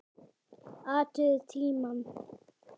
Athugið tímann.